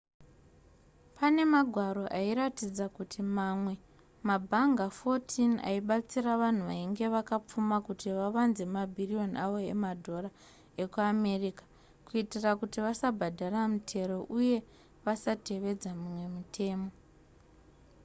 pane magwaro airatidza kuti mamwe mabhanga 14 aibatsira vanhu vainge vakapfuma kuti vavanze mabhiriyoni avo emadhora ekuamerica kuitira kuti vasabhadhara mitero uye vasatevedza mimwe mitemo